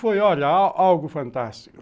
Foi, olha, algo fantástico.